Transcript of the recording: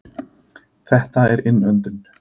Þetta er innöndun.